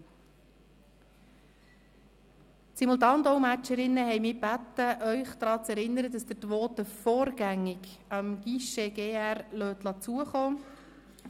Die Simultandolmetscherinnen haben mich gebeten, Sie daran zu erinnern, dass Sie Ihre Voten dem Guichet des Grossen Rates vorgängig zukommen lassen.